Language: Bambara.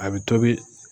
A bɛ tobi